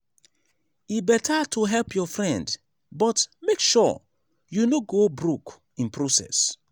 e better to help your friend but make sure you no go broke in process.